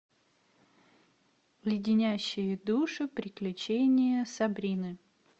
леденящие душу приключения сабрины